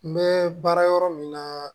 N bɛ baara yɔrɔ min na